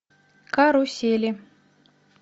карусели